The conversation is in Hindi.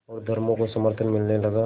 और धर्मों का समर्थन मिलने लगा